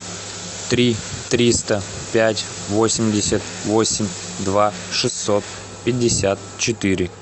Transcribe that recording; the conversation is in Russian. три триста пять восемьдесят восемь два шестьсот пятьдесят четыре